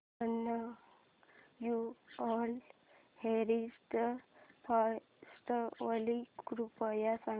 annual heritage festival कृपया सांगा